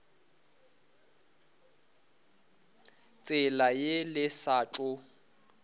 tsela ye le sa tšo